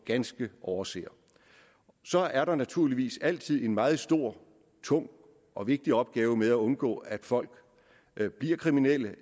ganske overser så er der naturligvis altid en meget stor tung og vigtig opgave med at undgå at folk bliver bliver kriminelle